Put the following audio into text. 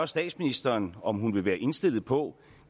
statsministeren om hun vil være indstillet på